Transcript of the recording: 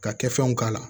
Ka kɛfɛnw k'a la